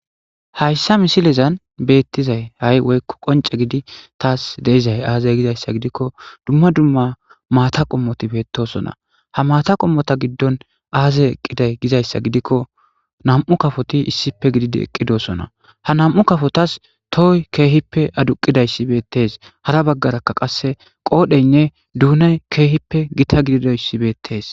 hayssa misilezan beettizay hay woykko qonce gidi taas deizay aazey gizayssa gidikko dumma dumma maata qommoti beettosona ha maata qommota giddon aazey eqqiday gizayssa gidikko nam7u kafoti issipe gidid eqqidosona ha nam7u kafotas tohoy keehippe aduqidayssi beettees hara baggaraka qasse qoodheynne duunay keehippe gita gididoyssi beettees